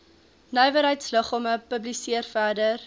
nywerheidsliggame publiseer verder